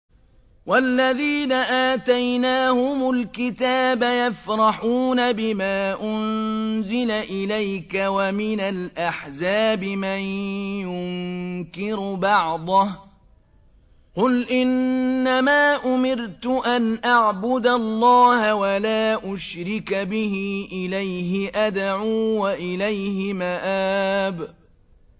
وَالَّذِينَ آتَيْنَاهُمُ الْكِتَابَ يَفْرَحُونَ بِمَا أُنزِلَ إِلَيْكَ ۖ وَمِنَ الْأَحْزَابِ مَن يُنكِرُ بَعْضَهُ ۚ قُلْ إِنَّمَا أُمِرْتُ أَنْ أَعْبُدَ اللَّهَ وَلَا أُشْرِكَ بِهِ ۚ إِلَيْهِ أَدْعُو وَإِلَيْهِ مَآبِ